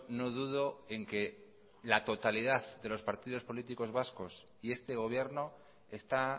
no dudo en que la totalidad de los partidos políticos vasco y este gobierno está